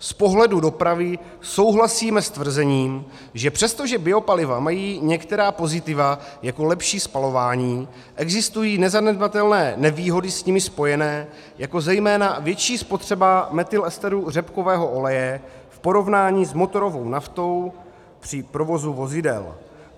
Z pohledu dopravy souhlasíme s tvrzením, že přestože biopaliva mají některá pozitiva, jako lepší spalování, existují nezanedbatelné nevýhody s nimi spojené, jako zejména větší spotřeba metylesteru řepkového oleje v porovnání s motorovou naftou při provozu vozidel.